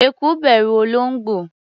Eku bẹ̀rù olóńgbò.